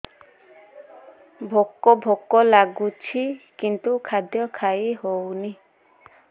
ଭୋକ ଭୋକ ଲାଗୁଛି କିନ୍ତୁ ଖାଦ୍ୟ ଖାଇ ହେଉନି